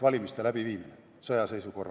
Hanno Pevkur, palun!